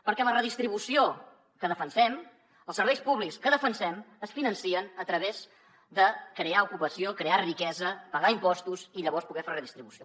perquè la redistribució que defensem els serveis públics que defensem es financen a través de crear ocupació crear riquesa pagar impostos i llavors poder fer redistribució